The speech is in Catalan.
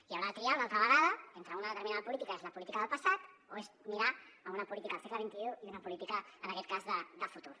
i haurà de triar una altra vegada entre una determinada política que és la política del passat o és mirar una política del segle xxi i una política en aquest cas de futur